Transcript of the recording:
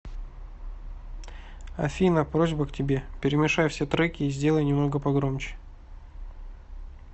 афина просьба к тебе перемешай все треки и сделай немного погромче